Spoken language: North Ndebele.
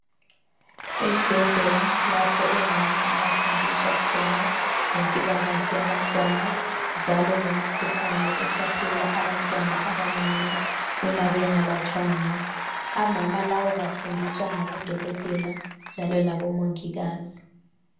Ezibhedlela lapho omama abafundiswa khona ngempilakahle yabantwana lemikhuhlane ehlasela abantwana abancane uma bengalatshwanga. Omama laba bafundiswa ngabodokotela njalo labomongikazi.